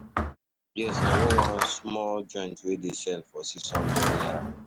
Yes, i know one small joint wey dey sell for Six hundred naira